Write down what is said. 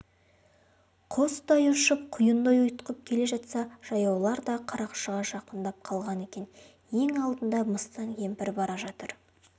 құстай ұшып құйындай ұйытқып келе жатса жаяулар да қарақшыға жақындап қалған екен ең алдында мыстан кемпір бара жатыр